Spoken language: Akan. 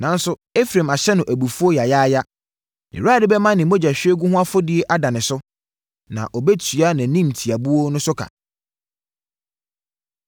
Nanso, Efraim ahyɛ no abufuo yaayaaya; nʼAwurade bɛma ne mogyahwiegu ho afɔdie ada ne so na ɔbɛtua nʼanimtiabuo no so ka.